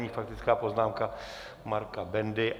Nyní faktická poznámka Marka Bendy.